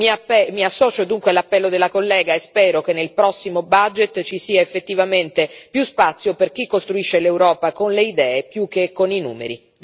Mi associo, dunque, all'appello della collega e spero che nel prossimo budget ci sia effettivamente più spazio per chi costruisce l'Europa con le idee, più che con i numeri.